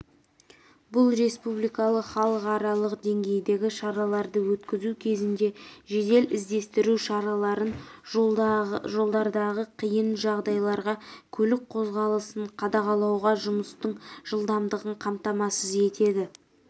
бұл республикалық халықаралық деңгейдегі шараларды өткізу кезінде жедел іздестіру шараларын жолдардағы қиын жағдайларда көлік қозғалысын қадағалауға жұмыстың жылдамдығын қамтамасыз етеді